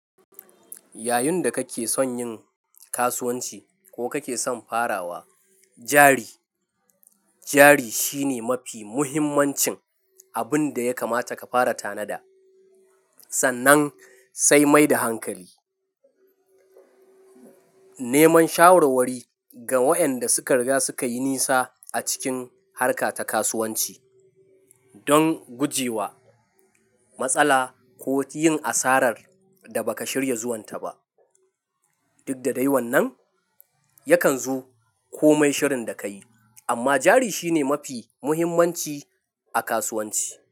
Yayin da kake son yin kasuwanci ko kake son farawa, jari, jari shine mafi muhimmancin abin da ya kamata ka fara tanada, sannan sai mai da hankali. Neman shawarwari ga waƴanda suka riga suka yi nisa a cikin harka ta kasuwanci don guje wa matsala ko yin asarar da ba ka shirya zuwanta ba. Duk da dai wannan, yakan zo ko mai shirin da ka yi, amma jari shine mafi muhimmanci a kasuwanci.